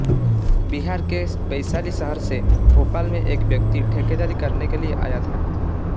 बिहार के वैशाली शहर से भोपाल में एक व्यक्ति ठेकेदारी करने के लिये आया था